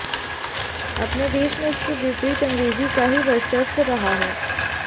अपने देश में इसके विपरीत अंग्रेजी का ही वर्चस्व रहा है